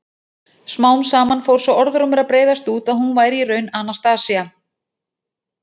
Smám saman fór sá orðrómur að breiðast út að hún væri í raun Anastasía.